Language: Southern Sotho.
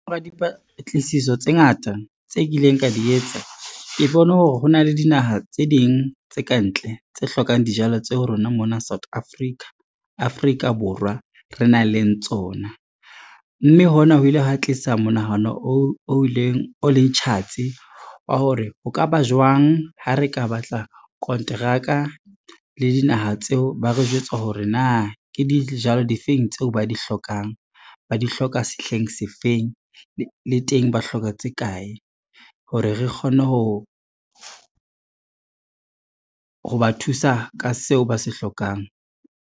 Dipatlisiso tse ngata tse kileng ka di etsa ke bone hore ho na le dinaha tse ding tse ka ntle tse hlokang dijalo tseo rona mona South Africa, Afrika Borwa re nang le tsona. Mme hona ho ile hwa tlisa monahano o leng tjhatsi wa hore, ho ka ba jwang ha re ka batla kontraka le dinaha tseo ba re jwetsa hore na ke dijalo difeng tseo ba di hlokang, ba di hloka sehleng se feng le teng, ba hloka tse kae hore re kgone ho ba thusa ka seo ba se hlokang.